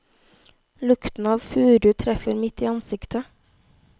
Lukten av furu treffer midt i ansiktet.